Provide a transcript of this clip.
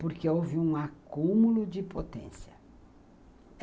porque houve um acúmulo de potência.